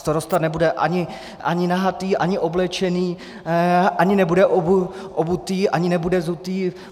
Starosta nebude ani nahatý, ani oblečený, ani nebude obutý, ani nebude zutý.